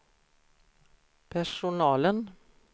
personalen